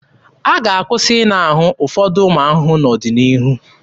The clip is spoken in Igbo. A ga-akwụsị ịna ahụ ụfọdụ ụmụ ahụhụ n'ọdịnihu.